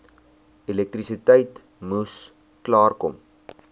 elektrisiteit moes klaarkom